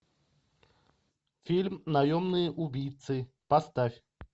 фильм наемные убийцы поставь